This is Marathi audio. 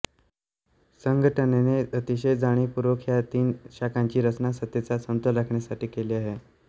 संघटनेने अतिशय जाणीवपूर्वक ह्या तीन शाखांची रचना सत्तेचा समतोल राखण्यासाठी केली आहे